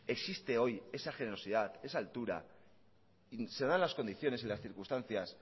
existe hoy esa generosidad esa altura y se dan las condiciones y las circunstancias